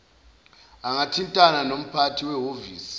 angathintana nomphathi wehhovisi